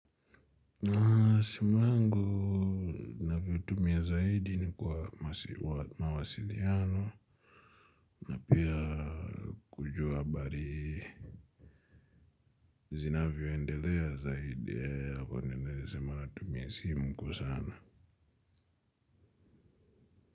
Na simu yangu ninavyo tumia zaidi ni kwa mawasiliano. Na pia kujua habari zinavyo endelea zaidi ya kwa nendelea sema na tumia simu kwa sana.